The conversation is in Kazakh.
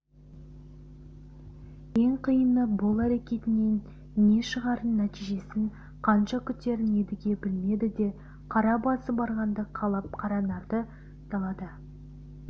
ең қиыны бұл әрекетінен не шығарын нәтижесін қанша күтерін едіге білмеді де қара басы барғанды қалап қаранарды далада